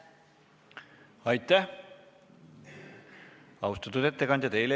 Aitäh, austatud ettekandja!